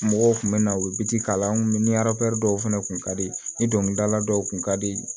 Mɔgɔw kun bɛ na u bɛ biti k'a la an kun mi dɔw fɛnɛ kun ka di ni dɔnkilidala dɔw kun ka di